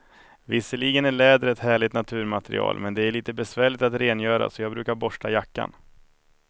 Visserligen är läder ett härligt naturmaterial, men det är lite besvärligt att rengöra, så jag brukar borsta jackan.